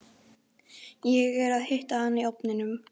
Ég er að hita hana í ofninum.